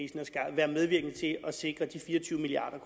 være medvirkende til at sikre de fire og tyve milliard